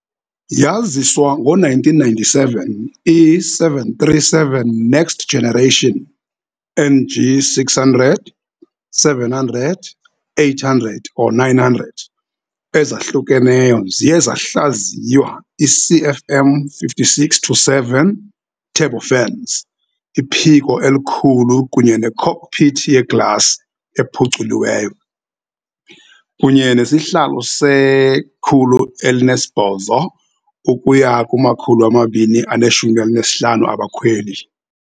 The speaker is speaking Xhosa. Yaziswa ngo-1997, i -737 Next Generation, NG, -600 - 700 - 800 or 900 ezahlukeneyo ziye zahlaziywa i-CFM56-7 turbofans, iphiko elikhulu kunye ne- cockpit yeglasi ephuculweyo, kunye nesihlalo se-108 ukuya kuma-215 abakhweli.